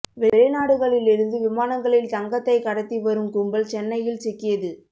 வெளிநாடுகளில் இருந்து விமானங்களில் தங்கத்தை கடத்தி வரும் கும்பல் சென்னையில் சிக்கியது